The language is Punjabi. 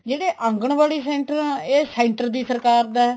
ਜਿਹੜੇ ਆਂਗਣਵਾੜੀ center ਆ ਇਹ center ਦੀ ਸਰਕਾਰ ਦਾ